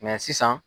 sisan